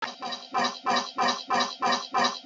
Ị ga-akpọ Emeka gaa n'ụlọ ahịa gị